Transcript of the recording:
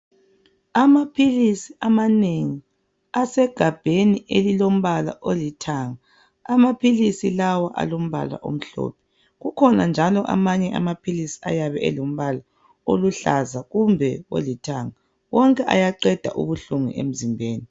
Amaphilisi amanengi. Asegabheni elilombala olithanga. Amaphilisi lawa alombala omhlophe. Kukhona njalo amanye amaphilisi ayabe elombala oluhlaza kumbe olithanga, wonke ayaqeda ubuhlungu emzimbeni.